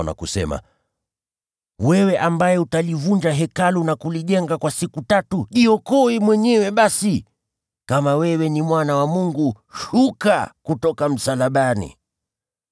na kusema, “Wewe ambaye utalivunja Hekalu na kulijenga kwa siku tatu, jiokoe mwenyewe basi! Kama wewe ni Mwana wa Mungu, shuka kutoka msalabani.”